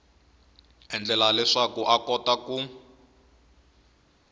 endlela leswaku a kota ku